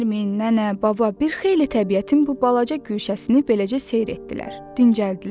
Nərmin, nənə, baba bir xeyli təbiətin bu balaca guşəsini beləcə seyr etdilər, dincəldilər.